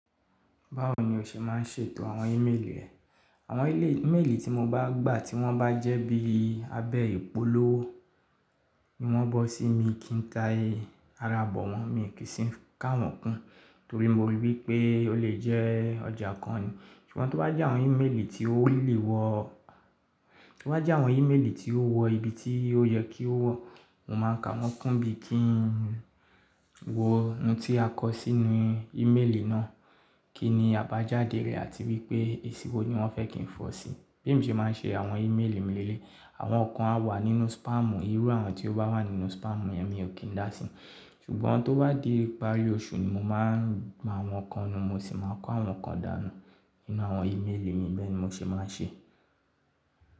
Báwo ni o ṣe má ń ṣètò àwọn ímeèlì rẹ? Àwọn ímeèlì tí mo bá gbà tí wọ́n bá jẹ́ bí abẹ́ ìpolówó, emo bọ́ sí mi kí n ta ara bọ̀ wọ́n, mi kì í sì ń káwọn kún torí mo rí i wípé ó lè jẹ́ ọjà kan ni. Ṣùgbọ́n tió bá jẹ́ àwọn ímeèlì tí ó really wọ̀, tió bá jẹ́ àwọn ímeèlì tí ó wọ ibi tí ó yẹ kí ó wọ̀, mo máa ń káwọn kún bí i kí n wo ohun tí a kọ sínú ímeèlì náà, kí ni àbájáde rẹ̀ àti wípé èsì wo ni wọ́n fẹ́ kí n fọ̀ sí i. Bẹ́ẹ̀ emi se mà ń ṣe àwọn ímeèlì mi léle yi. Àwọn kan á wà nínú spamù, ìrú àwọn tí ó bá wà nínú spamù yẹn mi ò kí n dá sí i. Ṣùgbọ́n tó bá di ìparí oṣù ni mo máa ń máàwọ̀ kan nu, mo sì máa ń kó àwọn kan dànù nínú àwọn ímeèlì mi, bẹ́ẹ̀ ni mo ṣe máa ń ṣe.